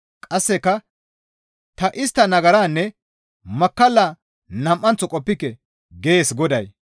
Qasseka, «Ta istta nagaraanne makkallaa nam7anththo qoppike» gees Goday.